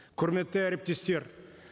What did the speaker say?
құрметті әріптестер